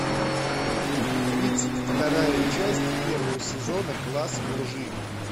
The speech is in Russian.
тридцать вторая часть первого сезона класс лжи